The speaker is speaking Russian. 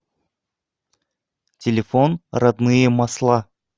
телефон родные масла